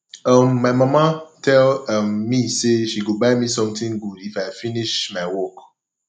um my mama tell um me say she go buy me something good if i finish if i finish my work